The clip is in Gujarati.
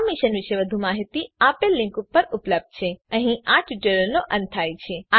આ મિશન પર વધુ માહીતી આપેલ લીંક પર ઉપલબ્ધ છે httpspoken tutorialorgNMEICT Intro અહીં આ ટ્યુટોરીયલનો અંત થાય છે